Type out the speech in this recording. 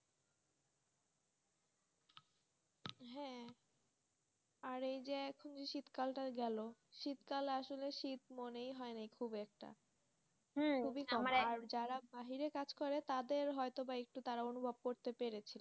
আর এখন যে এই যে শীতকালটা গেল, শীতকাল আসলে শীত মনে হয় না খুব একটা আর যারা বাইরে কাজ করে তাদের হয়ত বা তারা একটু অনুভব করতে পেরেছে,